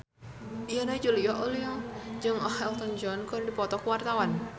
Yana Julio jeung Elton John keur dipoto ku wartawan